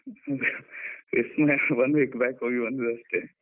ವಿಸ್ಮಯ one week back ಹೋಗಿ ಬಂದದ್ದಷ್ಟೆ.